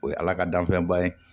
O ye ala ka danfɛnba ye